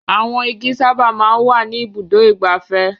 Àwọn igi sábà máa ń wà ní Ibùdó-ìgbafẹ́.